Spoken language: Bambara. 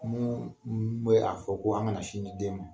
Mun bɛ a fɔ ko an kana sin ni den ma.